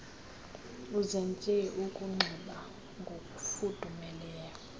uzenze ukunxiba ngokufudumeleyo